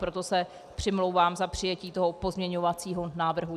Proto se přimlouvám za přijetí toho pozměňovacího návrhu.